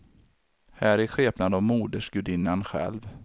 Här i skepnad av modersgudinnan själv.